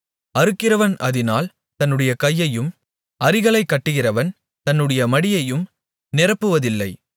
அறுக்கிறவன் அதினால் தன்னுடைய கையையும் அரிகளைக் கட்டுகிறவன் தன்னுடைய மடியையும் நிரப்புவதில்லை